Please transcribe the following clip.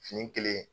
Fini kelen